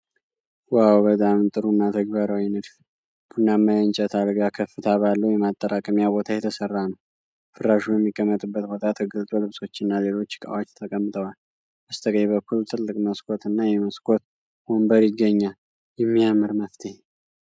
ዋው! በጣም ጥሩና ተግባራዊ ንድፍ! ቡናማ የእንጨት አልጋ ከፍታ ባለው የማጠራቀሚያ ቦታ የተሰራ ነው። ፍራሹ የሚቀመጥበት ቦታ ተገልጦ ልብሶችና ሌሎች ዕቃዎች ተቀምጠዋል። በስተቀኝ በኩል ትልቅ መስኮት እና የመስኮት ወንበር ይገኛል። የሚያምር መፍትሄ!